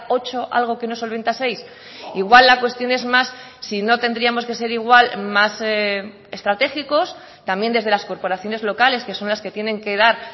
ocho algo que no solventa seis igual la cuestión es más si no tendríamos que ser igual más estratégicos también desde las corporaciones locales que son las que tienen que dar